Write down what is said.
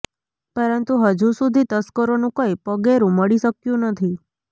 પરંતુ હજુ સુધી તસ્કરોનું કોઇ પગેરું મળી શક્યું નથી